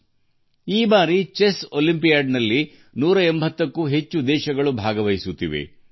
ಈ ಬಾರಿ 180ಕ್ಕೂ ಹೆಚ್ಚು ದೇಶಗಳು ಚೆಸ್ ಒಲಿಂಪಿಯಾಡ್ ನಲ್ಲಿ ಭಾಗವಹಿಸುತ್ತಿವೆ